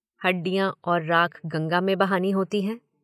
हड्डियाँ और राख गंगा में बहानी होती हैं।